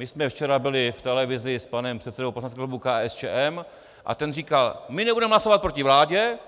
My jsme včera byli v televizi s panem předsedou poslaneckého klubu KSČM a ten říkal: My nebudeme hlasovat proti vládě,